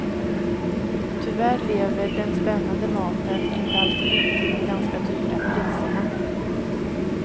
Tyvärr lever den spännande maten inte alltid upp till de ganska dyra priserna.